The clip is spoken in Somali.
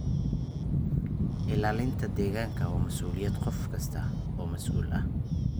Ilaalinta deegaanka waa mas'uuliyadda qof kasta oo mas'uul ah.